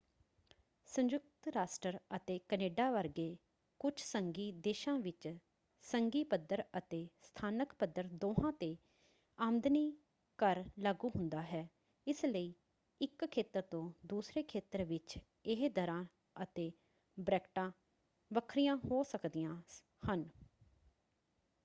ਸੰਯੁਕਤ ਰਾਸ਼ਟਰ ਅਤੇ ਕੈਨੇਡਾ ਵਰਗੇ ਕੁੱਝ ਸੰਘੀ ਦੇਸ਼ਾਂ ਵਿੱਚ ਸੰਘੀ ਪੱਧਰ ਅਤੇ ਸਥਾਨਕ ਪੱਧਰ ਦੋਹਾਂ ‘ਤੇ ਆਮਦਨੀ ਕਰ ਲਾਗੂ ਹੁੰਦਾ ਹੈ ਇਸ ਲਈ ਇੱਕ ਖੇਤਰ ਤੋਂ ਦੂਸਰੇ ਖੇਤਰ ਵਿੱਚ ਇਹ ਦਰਾਂ ਅਤੇ ਬਰੈਕਟਾਂ ਵੱਖਰੀਆਂ ਹੋ ਸਕਦੀਆਂ ਹਨ।